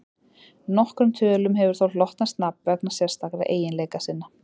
nokkrum tölum hefur þó hlotnast nafn vegna sérstakra eiginleika sinna